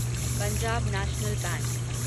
Punjab national bank